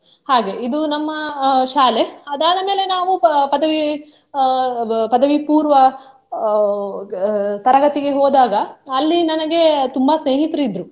ಹಾಗೆ ಇದು ನಮ್ಮ ಅಹ್ ಶಾಲೆ ಅದಾದ ಮೇಲೆ ನಾವು ಪ~ ಪದವಿ ಅಹ್ ಅಹ್ ಪದವಿ ಪೂರ್ವ ಅಹ್ ಅಹ್ ತರಗತಿಗೆ ಹೋದಾಗ ಅಲ್ಲಿ ನನಗೆ ತುಂಬಾ ಸ್ನೇಹಿತರು ಇದ್ರು.